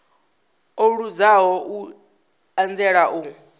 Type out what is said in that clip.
o luzaho u anzela u